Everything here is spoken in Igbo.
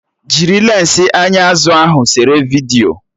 Jiri lensi anya azụ ahụ sere vidiyo!